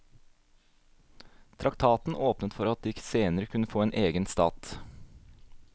Traktaten åpnet for at de senere kunne få en egen stat.